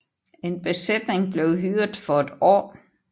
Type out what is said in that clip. En besætning blev hyret for et år